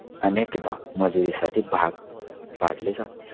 अनेकदा मजुरीसाठी भाग पाडले जाते.